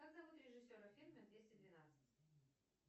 как зовут режиссера фильма двести двенадцать